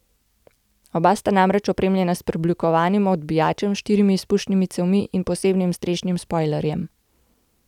Oba sta namreč opremljena s preoblikovanim odbijačem, štirimi izpušnimi cevmi in posebnim strešnim spojlerjem.